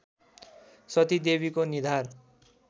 सतीदेवीको निधार